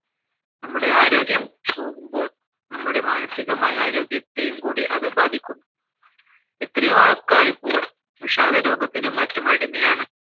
നമ്മുടെ ആരോഗ്യം പോവുമ്പോൾ നമ്മുടെ മാനസികമായ ആരോഗ്യത്തെയും കൂടി അത് ബാധിക്കും എത്രയോ ആൾക്കാർ ഇപ്പോൾ വിഷാദ രോഗത്തിനും മറ്റും അടിമയാണ്